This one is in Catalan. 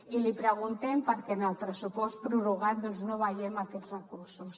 i li preguntem perquè en el pressupost prorrogat doncs no veiem aquests recursos